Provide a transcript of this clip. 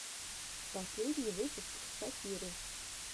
последний выпуск шакиры